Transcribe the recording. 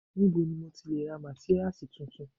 Níbo ni mo ti lè ra mátíráàsì tuntun?